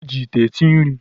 E ji ite esi nri.